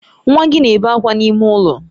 Nwa gị na-ebe akwa n'ime ụlọ.